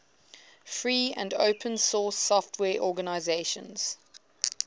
free and open source software organizations